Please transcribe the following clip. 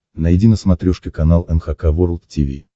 найди на смотрешке канал эн эйч кей волд ти ви